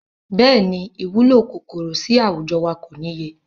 Bẹ́ẹ̀ni, ìwúlò kòkòrò sì àwùjọ wa kò níye.